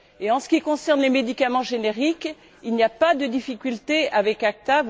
Et en ce qui concerne les médicaments génériques, il n'y a pas de difficulté avec l'ACTA.